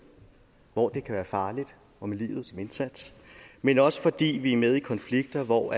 hvor det kan være farligt og med livet som indsats men også fordi vi er med i konflikter hvor